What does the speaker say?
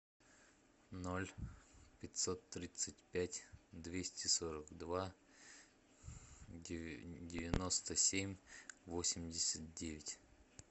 ноль пятьсот тридцать пять двести сорок два девяносто семь восемьдесят девять